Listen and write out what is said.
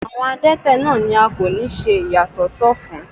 Àwọn adẹ́tẹ̀ náà ni a kò ní ṣe ìyà sọ́tọ̀ fún.